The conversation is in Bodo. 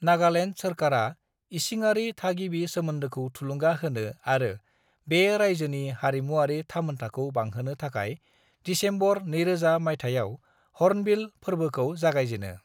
नागालेण्ड सोरकारा इसिङारि-थागिबि सोमोन्दोखौ थुलुंगा होनो आरो बे रायजोनि हारिमुआरि थामोनथाखौ बांहोनो थाखाय दिसेम्बर 2000 मायथाइयाव हर्नबिल फोरबोखौ जागायजेनो।